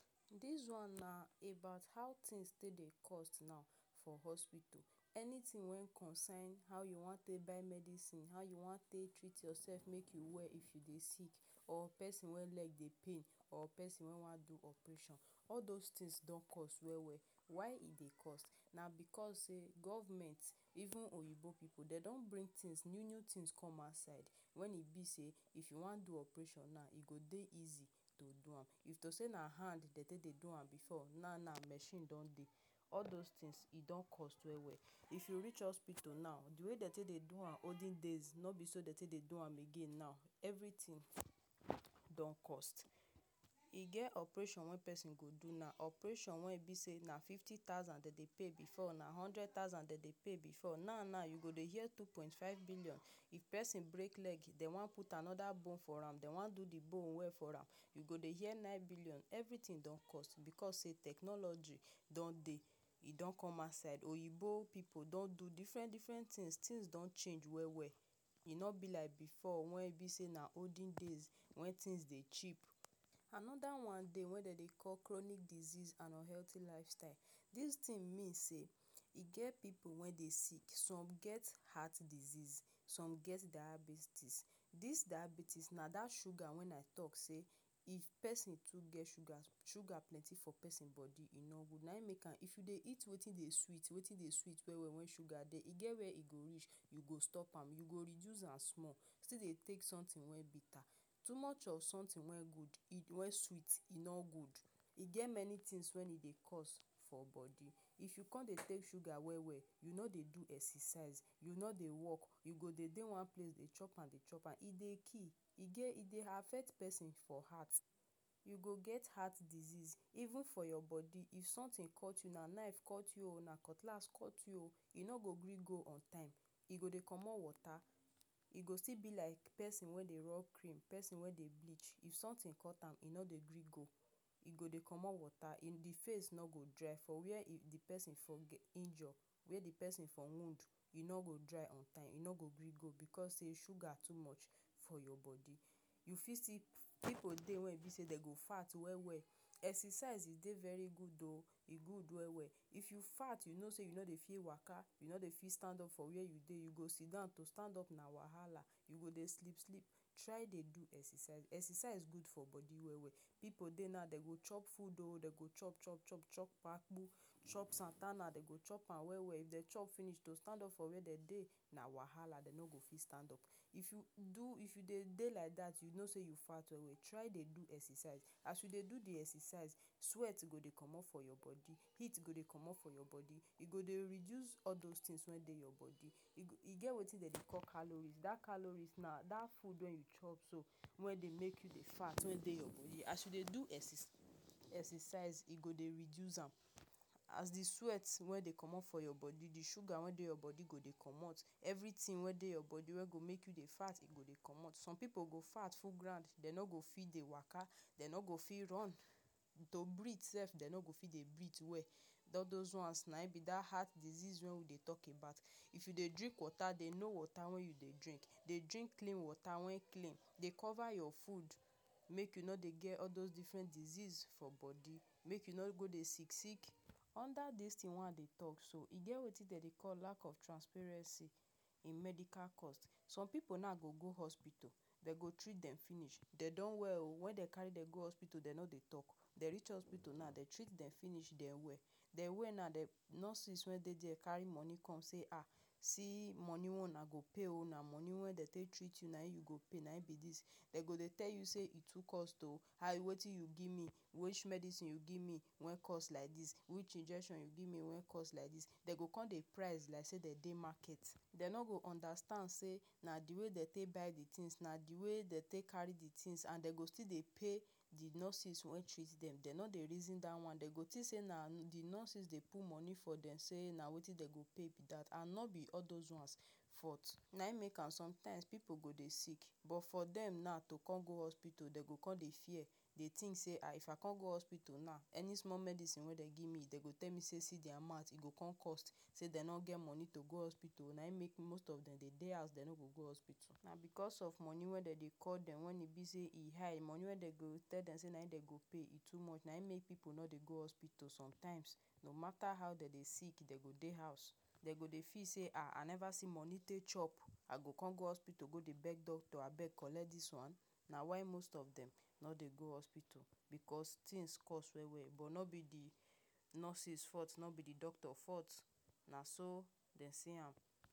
Dis one na about how things take dey cost now for hospital. Anything wey concern how you wan take buy medisin. How you wan take treat yourself make you well if you dey sick. Or pesin wey leg dey pain. Or pesin wey wan do operation. All those things don cost well well. Why e dey cost. Na because say Government, even um oyinbo um pipu, don bring new new thing wey come outside. Wen be sey if you wan do operation now, e go dey easy to do am. If to say na hand dem dey take dey do am before, now now na machine don dey. All those things, e don cost well well. If you reach hospital now, the way dem take do am olden days, no be so dem take dey do am again now. Everything don cost. E get operation wey pesin go do now. Operation wen e be say na fifty thousand dem dey pay before, na hundred thousand dem dey pay before — now now, you go dey hear two point five billion. If pesin break leg, dem wan put another bone for am, dem wan do the bone well for am. You go dey hear nine billion. Everything don cost. Because say technology don dey. E don come outside. Oyinbo pipu don do different-different things. Things don change well well. E no be like before wen e be sey na olden days, wey things cheap. Another one dey wey dem dey call chronic disease and unhealty lifestyle. Dis thing mean say e get pipu wey dey sick. Some get heart disease, some get diabetes. Dis diabetes na dat sugar when I talk say, if pesin too get sugar — sugar plenty for pesin body e no good — nayin make am. If you dey eat wetin dey sweet — wetin dey sweet well well wey sugar dey — e get where e go reach you go stop am. You go reduce am small. still dey take something wey bitter. Too much of something wey good wey sweet e no good. E get many things wey e dey cause for body. If you con dey take sugar well well, you no dey do exercise. You no dey walk. You go dey dey one place dey chop am, dey chop am. E dey kih. E get e dey affect pesin for heart. You go get heart disease. Even for your body, if something cut you now — knife cut you oh, cutlass cut you — e no go gree go on time. E go dey comot water. E go still be like pesin wey dey rub cream. Pesin wey dey bleach — if something cut am, e no dey gree go. E go dey comot water. The face no go dry for where the pesin injure. If the pesin get wound, e no go dry on time. E no go gree go because say sugar too much for your body. You fit still Pipu dey wey e be say dem go fat well well. Exercise e dey very good oh — e good well well. If you fat, you know say you no dey fit waka. You no dey fit stand up from where you dey you go sitdon to stand up na wahala. You go dey sleep, sleep. Try dey do exercise. Exercise good for body well well. Pipu dey now dey go chop food. Dey go chop, chop, chop. Chop Apu, chop dey go chop am well well, if dem chop finish to stand up from where dem dey na wahala, dem no go fit stand up. If you do if you dey dey like dat, you know say you fat well, try dey do exercise. As you dey do the exercise, sweat go dey comot from your body. Heat go dey comot from your body. E dey reduce all those things wey dey your body. E e get wetin dem dey call calories. Dat calories na dat food wey you chop wey dey make you dey fat wey dey your body. As you dey do exerci exercise, e go dey reduce am. As the sweat wey dey comot for your body, the sugar wey dey your body go dey comot. Everything wey dey your body wey go make you dey fat go dey comot. Some pipu fat full ground — dem no go fit waka, dem no go fit run. To breathe sef, dem no go fit breathe well. All those ones nayin be dat heart disease wey we dey talk about. If you dey drink water, dey know water wey you dey drink. Dey drink clean water — wen clean. Dey cover your food make you no dey get all those different diseases for body. Make you no go dey sick sick. Under dis thing wey I dey talk so, e get wetin dem dey call lack of transparency in medical cost. Some pipu now dey go go hospital. Dem treat dem finish. Dey don well oh! When dem carry dem go hospital, dem no dey talk. Dem reach hospital now, dem treat dem finish — dem well. Dem well now, nurses wey dey there carry money come say, “um See money wey una go pay oh! Na money wey we take treat una. Nayin you go pay. Nayin be dis.” Dem go dey tell you say e too cost oh! “um, wetin you give me? Which medisin you give me wey cost like dis? Which injection you give me wey cost like dis?” Dem go con dey price like say dem dey market. Dem no go understand say na the way dem take buy the things. Na the way dem take carry the things. And dem go still dey pay the nurses wey treat dem. Dem no dey reason dat one. Dem go think say na the nurses dey put money for dem — say na wetin dem go pay be dat. And no be all those ones fault. Nayin make am sometimes pipu go dey sick, but for dem now to con go hospital, dem go con dey fear. Dey think say, “um If I con go hospital now, any small medisin wey dem give me, dem go tell me say see the amount.” E go con cost. Say dem no get money to go hospital — nayin make most of dem dey dey house. Dem no go hospital. Na because of money wey dem dey call dem — when e be say e high. Money wey dem go tell dem say na wetin dem go pay — e too much. Nayin make plenty pipu no dey go hospital sometimes. No matter how dem dey sick, dem go dey house. Dem go dey feel say, “um! I never see money take chop. I go con go hospital con dey beg doctor, ‘Abeg collect dis one?” Na why most of dem no dey go hospital — because things cost well well. No be the nurses fault. No be the doctor fault. Naso dem see.